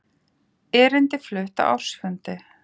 Erindi flutt á ársfundi